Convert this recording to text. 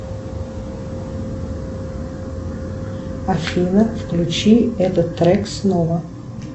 афина включи этот трек снова